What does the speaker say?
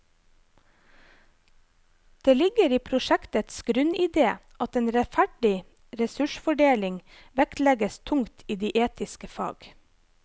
Det ligger i prosjektets grunnidé at en rettferdig ressursfordeling vektlegges tungt i de etiske fag.